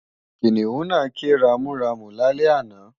Kìnìún náà ké ramúramù lálẹ́ àná